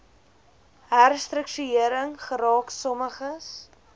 herstruktuering geraak sommiges